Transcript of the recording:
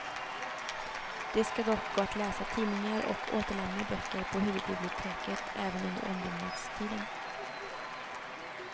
Det ska dock gå att läsa tidningar och återlämna böcker på huvudbiblioteket även under ombyggnadstiden.